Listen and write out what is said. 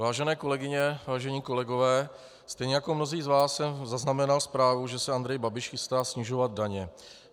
Vážené kolegyně, vážení kolegové, stejně jako mnozí z vás jsem zaznamenal zprávu, že se Andrej Babiš chystá snižovat daně.